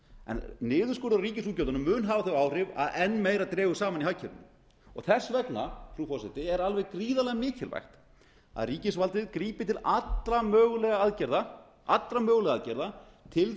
en niðurskurður á ríkisútgjöldunum mun hafa þau áhrif að enn meira dregur saman í hagkerfinu og þess vegna frú forseti er alveg gríðarlega mikilvægt að ríkisvaldið grípi til allra mögulegra aðgerða til